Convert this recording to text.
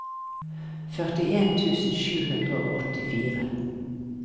førtien tusen sju hundre og åttifire